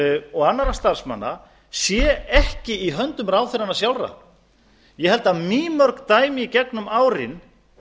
og annarra starfsmanna séu ekki í höndum ráðherranna sjálfra ég held að mýmörg dæmi í gegnum árin